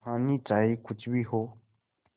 कहानी चाहे कुछ भी हो